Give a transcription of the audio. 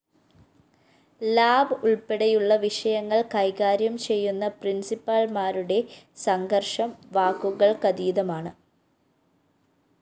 lab ഉള്‍പ്പെടെയുള്ള വിഷയങ്ങള്‍ കൈകാര്യം ചെയ്യുന്ന പ്രിന്‍സിപ്പാള്‍മാരുടെ സംഘര്‍ഷം വാക്കുകള്‍ക്കതീതമാണ്